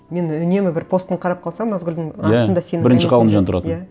мен үнемі бір постын қарап қалсам назгүлдің иә астында иә бірінші ғалымжан тұратын иә